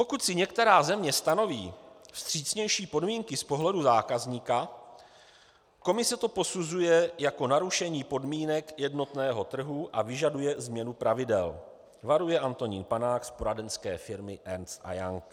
Pokud si některá země stanoví vstřícnější podmínky z pohledu zákazníka, Komise to posuzuje jako narušení podmínek jednotného trhu a vyžaduje změnu pravidel," varuje Antonín Panák z poradenské firmy Ernst & Young.